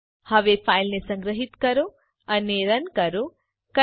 હવે ફાઈલને સંગ્રહીત કરો અને રન કરો